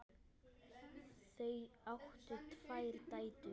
Þau áttu tvær dætur.